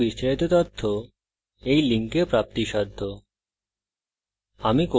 এই বিষয়ে বিস্তারিত তথ্য এই link প্রাপ্তিসাধ্য spoken hyphen tutorial dot org slash nmeict hyphen intro